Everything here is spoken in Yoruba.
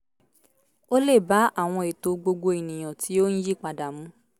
ó lè bá àwọn ètò gbogbo ènìyàn tí ó ń yí padà mu